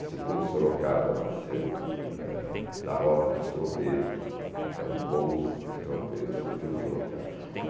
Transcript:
Assim como Sorocaba nasceu da da rota dos tropeiros, era um pouso de tropeiros, surgiu Sorocaba.